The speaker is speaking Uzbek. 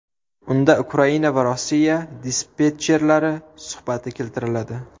Unda Ukraina va Rossiya dispetcherlari suhbati keltiriladi.